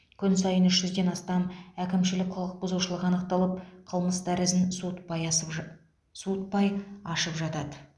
күн сайын үш жүзден астам әкімшілік құқық бұзушылық анықталып қылмыстар ізін суытпай асып ж суытпай ашылып жатады